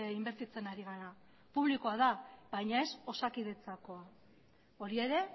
inbertitzen ari gara publikoa da baina ez osakidetzakoa hori ere